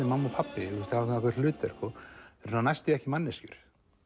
mamma og pabbi hafa ákveðið hlutverk næstum því ekki manneskjur